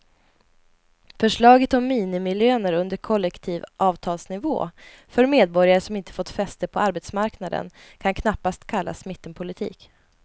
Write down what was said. Förslaget om minimilöner under kollektivavtalsnivå för medborgare som inte har fått fäste på arbetsmarknaden kan knappast kallas mittenpolitik.